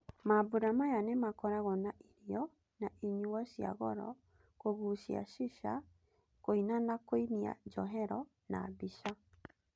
Mambũra maya nĩmakoragwo na irio na inyuo cia goro, kũgucia shisha, kũina na kũinia njohero na mbica.